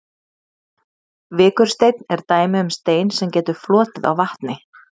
vikursteinn er dæmi um stein sem getur flotið á vatni